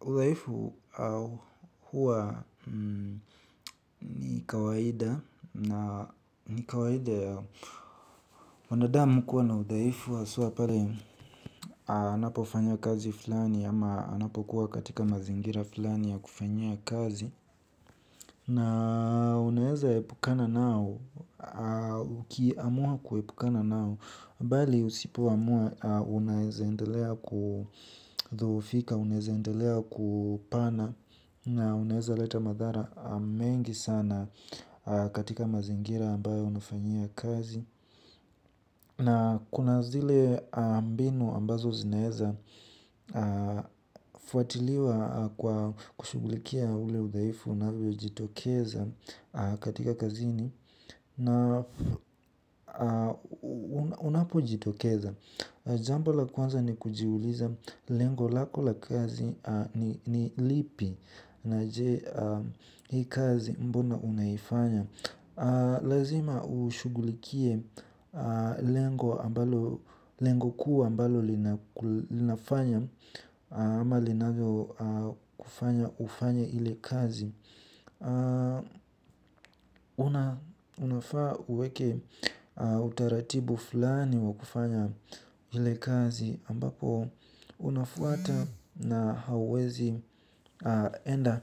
Udhaifu huwa ni kawaida na ni kawaida ya wanadamu kuwa na udhaifu haswa pale anapofanya kazi fulani ama anapokuwa katika mazingira fulani ya kufanya kazi. Na unaeza epukana nao, uki amua kuepukana nao, bali usipoamua, unaeza endelea kufika, unaeza endelea kupana, na unaeza leta madhara mengi sana katika mazingira ambayo unafanyia kazi. Na kuna zile mbinu ambazo zinaeza fuatiliwa kwa kushugukikia vile udhaifu unavyojitokeza katika kazini unapo jitokeza. Jambo la kwanza ni kujiuliza lengo lako la kazi ni lipi na je hii kazi mbona unaifanya. Lazima ushugulikie lengo kuu ambalo linafanya ama linavyo kufanya kufanya ile kazi. Unafaa uweke utaratibu fulani wa kufanya ile kazi ambapo unafuata na hauwezi enda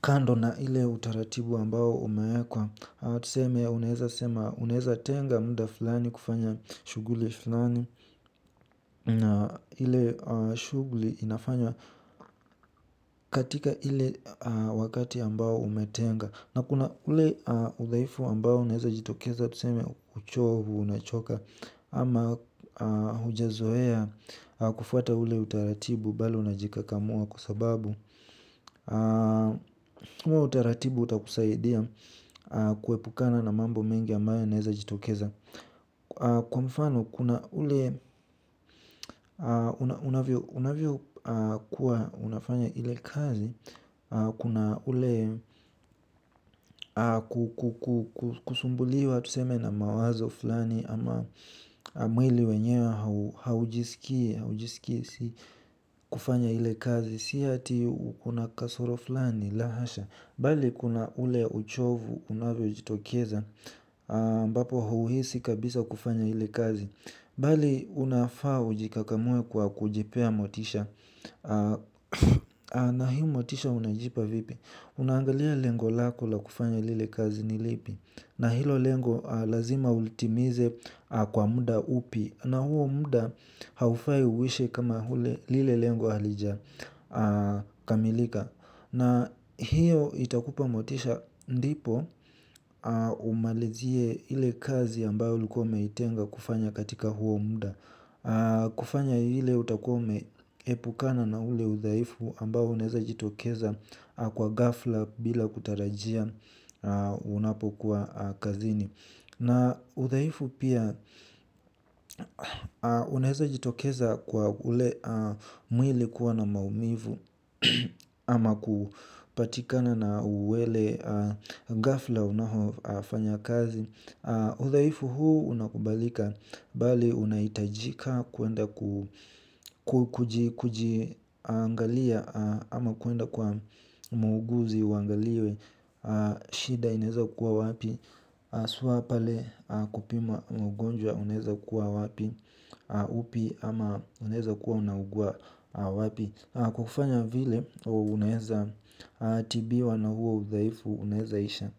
kando na ile utaratibu ambao umeekwa. Tuseme unaeza tenga mda fulani kufanya shuguli fulani. Ile shuguli inafanya katika ile wakati ambao umetenga. Na kuna ule udhaifu ambao unaeza jitokeza tuseme uchovu unachoka. Ama hujazoea kufuata ule utaratibu bado unajikakamua kwa sababu uwe utaratibu utakusaidia kuepukana na mambo mengi ambayo yanaeza jitokeza. Kwa mfano kuna ule unavyo kuwa unafanya ile kazi. Kuna ule kusumbuliwa tuseme na mawazo fulani ama mwili wenyewe haujisikii hujisikisi kufanya hile kazi. Si ati una kasoro fulani la hasha. Bali kuna ule uchovu unavyo jitokeza ambapo huuhisi kabisa kufanya hile kazi. Bali unafaa ujikakamue kwa kujipea motisha. Na hi motisha unajipa vipi. Unaangalia lengo lako la kufanya ile kazi nilipi. Na hilo lengoblako lazima ulitimize kwa muda upi. Na huo muda haufai uishe kama lile lengo halija kamilika. Na hiyo itakupa motisha ndipo umalizie ile kazi ambayo ulikuwa umeitenga kufanya katika huo muda. Kufanya ile utakua ume epukana na ule uthaifu ambao unaeza jitokeza kwa gafla bila kutarajia unapo kuwa kazini. Na uthaifu pia unaeza jitokeza kwa ule mwili kuwa na maumivu ama kupatikana na uwele gafla unaho fanya kazi. Udhaifu huu unakubalika bali unaitajika kuenda kujiangalia ama kuenda kwa muuguzi uangaliwe shida inaeza kuwa wapi haswa pale kupima mgonjwa unaeza kuwa wapi upi ama unaeza kuwa unaugua wapi. Kufanya vile unaeza tibiwa na huo udhaifu unaeza isha.